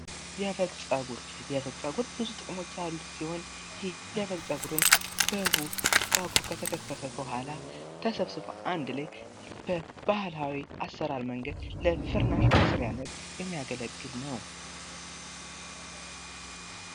የበግ ፀጉር የበግ ፀጉር ብዙ ጥቅሞች ያሉት ሲሆን ይህ የበግ ፀጉርም በጉ ፀጉሩ ከተገፈፈ በኋላ ተሰብስቦ አንድ ላይ በባህላዊ አሰራር መንገድ ለፍርናሽ መስርያነት የሚያገለግል ነው።